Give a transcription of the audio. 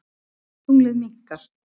Tunglið minnkar.